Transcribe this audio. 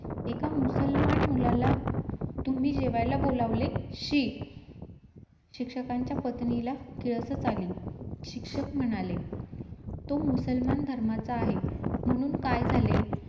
आपल्या शरीराची कुठे कमी कमी जास्त आहे , तेही मोजमाप चालू केली.